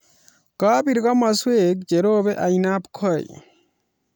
Kabir komaswek che robei ainabkoi